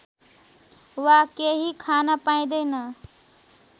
वा केही खान पाइँदैन